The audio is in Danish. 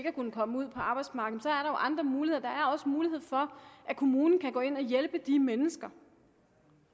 at kunne komme ud på arbejdsmarkedet er andre muligheder der er også mulighed for at kommunen kan gå ind og hjælpe de mennesker